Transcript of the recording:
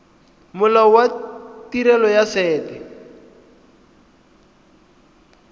molao wa tirelo ya set